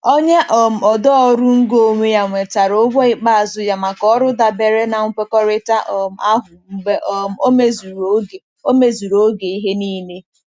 Onye um odee ọrụ ngo onwe ya nwetara ụgwọ ikpeazụ ya maka ọrụ dabere na nkwekọrịta um ahụ mgbe um o mezuru oge o mezuru oge ihe niile.